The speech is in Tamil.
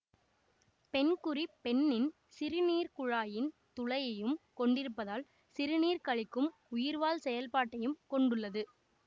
பெண்குறி பெண்ணின் சிறுநீர்க்குழாயின் துளையையும் கொண்டிருப்பதால் சிறுநீர் கழிக்கும் உயிர்வாழ் செயல்பாட்டையும் கொண்டுள்ளது